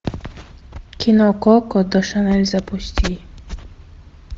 кино коко до шанель запусти